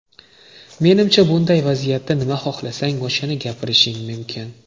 Menimcha bunday vaziyatda nima xohlasang o‘shani gapirishing mumkin.